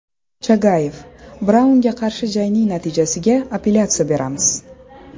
Chagayev: Braunga qarshi jangning natijasiga apellyatsiya beramiz.